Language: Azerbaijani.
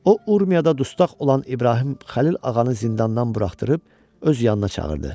O Urmiyada dustaq olan İbrahim Xəlil ağanı zindandan buraxdırıb öz yanına çağırdı.